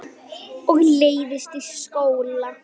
Og leiðist í skóla.